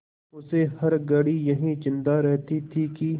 उसे हर घड़ी यही चिंता रहती थी कि